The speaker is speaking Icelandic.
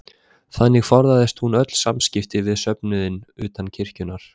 Þannig forðaðist hún öll samskipti við söfnuðinn utan kirkjunnar.